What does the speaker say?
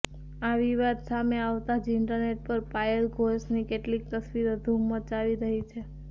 આ વિવાદ સામે આવતાં જ ઇન્ટરનેટ પર પાયલ ઘોષની કેટલીક તસવીરો ધૂમ મચાવી રહી છે